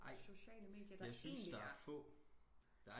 Jeg syntes der er få